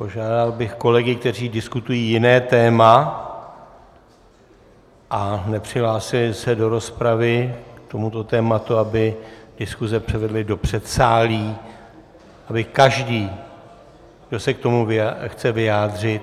Požádal bych kolegy, kteří diskutují jiné téma a nepřihlásili se do rozpravy k tomuto tématu, aby diskuze převedli do předsálí, aby každý, kdo se k tomu chce vyjádřit,